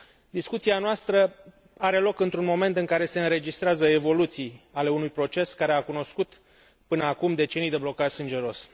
Discuția noastră are loc într un moment în care se înregistrează evoluții ale unui proces care a cunoscut până acum decenii de blocaj sângeros.